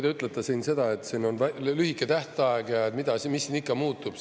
Te ütlete, et siin on lühike tähtaeg ja mis siin ikka muutub.